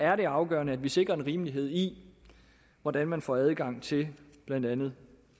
er det afgørende at vi sikrer en rimelighed i hvordan man får adgang til blandt andet